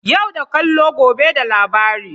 Yau da kallo, gobe da labari.